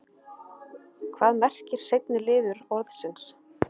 hvað merkir seinni liður orðsins